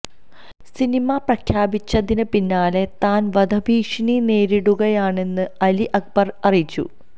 cinema പ്രഖ്യാപിച്ചതിന് പിന്നാലെ താന് വധഭീഷണി നേരിടുകയാണെന്ന് അലി അക്ബര് അറിയിച്ചു